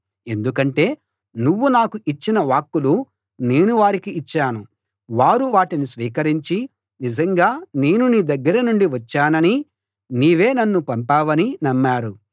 ఎందుకంటే నువ్వు నాకు ఇచ్చిన వాక్కులు నేను వారికి ఇచ్చాను వారు వాటిని స్వీకరించి నిజంగా నేను నీ దగ్గర నుండి వచ్చాననీ నీవే నన్ను పంపావనీ నమ్మారు